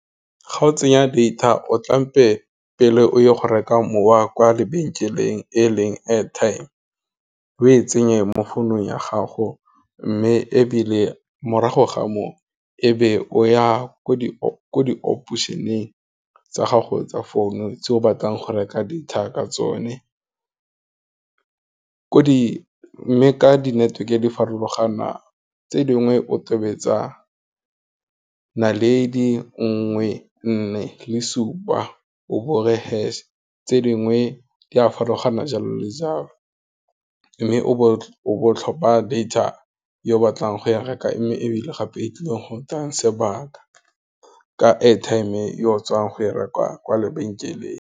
Ga o tsenya data o tla tlhampe pele o ye go reka mowa kwa lebenkeleng e leng airtime, o e tsenye mo founung ya gago, mme ebile morago ga moo ebe o ya ko di ko di-operation-eng tsa gago tsa phone, tse o batlang go reka data ka tsone, mme ka di network-e di farologana, tse dingwe o tobetsa, naledi nngwe nne le supa, o bore hash tse dingwe di a farologana jalo le jalo, mme o bo o tlhopha data yo o batlang go ya reka ko mme ebile gape e tlileng go tsaa sebaka, ka airtime ye o tswang go e reka kwa lebenkeleng.